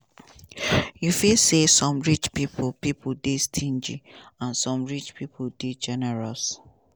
you fit say some rich pipo pipo dey stingy and some rich pipo dey generous.